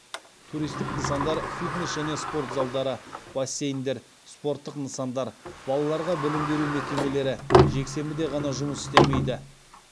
туристік нысандар фитнес және спорт залдары бассейндер спорттық нысандар балаларға білім беру мекемелері жексенбіде ғана жұмыс істемейді